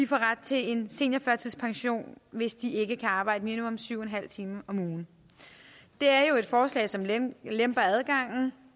får ret til en seniorførtidspension hvis de ikke kan arbejde minimum syv en halv timer om ugen det er jo et forslag som lemper lemper adgangen